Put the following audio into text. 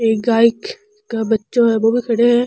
एक गाय का बच्चा है बो भी खड़ो है।